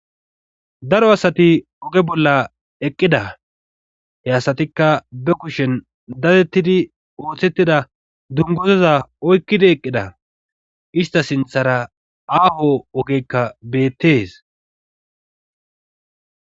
Daro asati oge bolla eqqida he asatikka be kushen datettidi ooththettida dungozaza oykkidi eqqida ista sinthara aaho ogekka beettes.